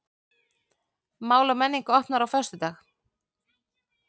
Mál og menning opnar á föstudag